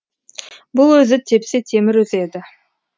бұл өзі тепсе темір үзеді